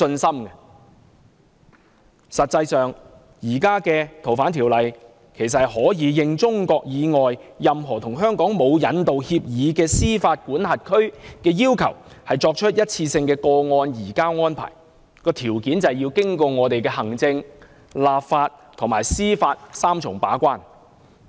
實際上，根據現行《條例》，香港可以因應中國以外任何與香港沒有引渡協議的司法管轄區要求，作出一次性個案移交安排，但條件是要經過香港的行政、立法及司法三重把關。